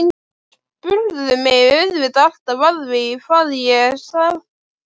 Þær spurðu mig auðvitað alltaf að því hvað ég starfaði.